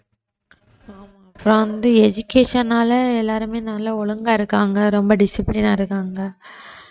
இப்ப வந்து education னால எல்லாருமே நல்லா ஒழுங்கா இருக்காங்க ரொம்ப discipline ஆ இருக்காங்க அஹ்